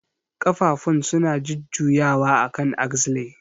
Ƙafafun suna jujjuyawa akan axle.